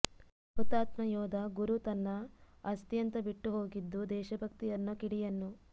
ಹುತಾತ್ಮ ಯೋಧ ಗುರು ತನ್ನ ಆಸ್ತಿ ಅಂತ ಬಿಟ್ಟು ಹೋಗಿದ್ದು ದೇಶಭಕ್ತಿ ಅನ್ನೋ ಕಿಡಿಯನ್ನು